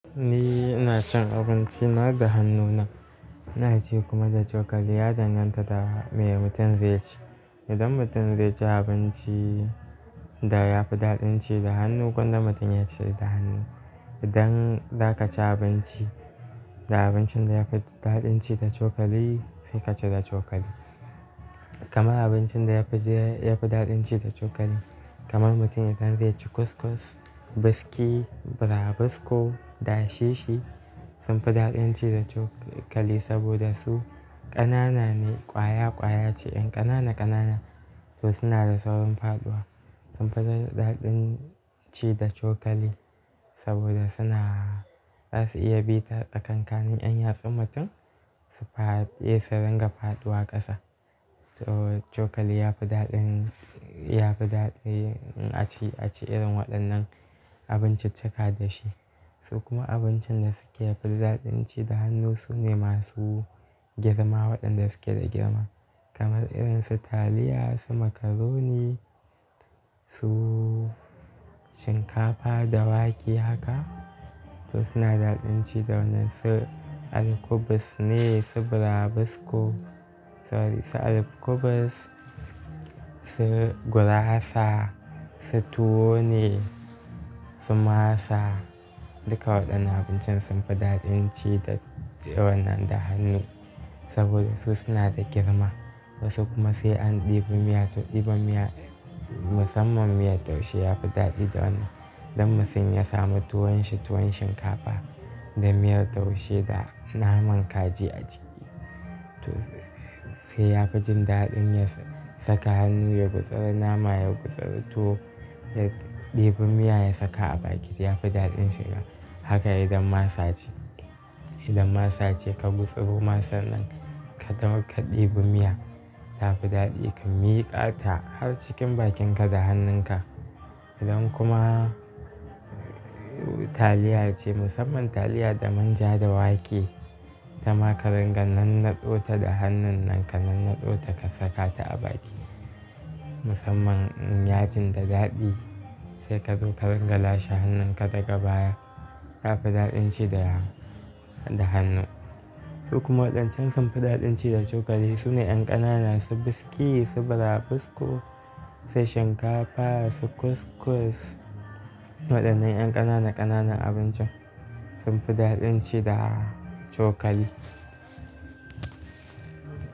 Ni ina cin abinci na da hannuna, ina ci kuma da cokali. Ya danganta da me mutum zai ci. Idan mutum zai ci abinci da yafi daɗin ci da hannu, gwanda mutum ya ci da hannu. Idan za ka ci abinci da abincin da yafi daɗin ci da cokali, sai ka ci da cokali. Kaman abincin da yafi daɗin ci da cokali kaman mutum idan zai ci kuskus, biskii, burabusko da shishi sunfi daɗin ci da cokali saboda su ƙanana ne, ƙwaya ƙwaya ce, yan ƙanana ƙanana su suna da saurin faɗuwa. Sunfi daɗin ci da cokali saboda suna iya bi ta kankaniyan yatsun mutum, su fara iya su ringa faɗuwa ƙasa. So cokali yafi daɗin, yafi daɗi a ci, a ci irin waɗannan abincin cika da shi. Su kuma abincin da suke fi daɗin ci da hannu sune masu girma waɗanda suke da girma. Kaman irin su taliya, su makaroni, su shinkafa da wake haka, to suna daɗin ci da wannan su alkubus ne, su burabusko, sorry su alkubus, su gurasa, su tuwo ne, su masa, duka waɗannan abincin sunfi daɗin ci da wannan da hannu saboda su suna da girma. Wasu kuma sai an ɗibi miya, to ɗiba miya musamman miyar taushe yafi daɗi da wannan. Dan mutum ya samu tuwon shi tuwon shinkafa da miyar taushe da naman kaji a ciki. Toh sai yafi jin daɗin ya saka hannu ya gutsuri naman, ya gutsuri tuwo, ya ɗibi miya ya saka a bakin yafi daɗin sha. Haka idan masa ce, idan masa ce ka gutsuro masar nan ka ɗibi miya tafi daɗi. Ka miƙa ta har cikin bakin ka da hannun ka. Idan kuma taliya ce musamman taliya da manja da wake, ta maka ringa nan naɗo ta da hannun nan ka nan naɗo ta ka saka ta a baki. Musamman in yajin ta daɗi sai kazo ka ringala shi hannun ka daga baya tafi daɗin ci da, da hannu. Su kuma waɗancan sunfi daɗin ci da cokali sune yan ƙanana su biskii, su burabusko, sai shinkafa, su kuskus, waɗannan yan ƙanana ƙanana abincin sunfi daɗin ci da cokali.